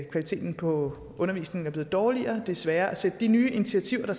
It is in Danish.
kvaliteten på undervisningen er blevet dårligere og det er sværere at sætte de nye initiativer for